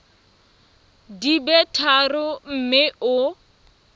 di be tharo mme o